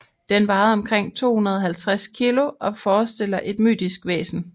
Den vejede omkring 250 kg og forestiller et mytisk væsen